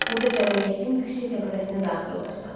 Burda cəmiyyətin yüksək təbəqəsinə daxil olarsan.